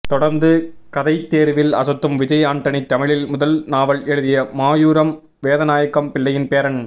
தொடர்ந்து கதைதேர்வில் அசத்தும் விஜய் ஆண்டனி தமிழில் முதல் நாவல் எழுதிய மாயூரம் வேதநாயகம் பிள்ளையின் பேரன்